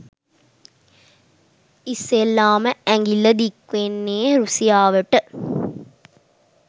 ඉස්සෙල්ලාම ඇඟිල්ල දික්වෙන්නෙ රුසියාවට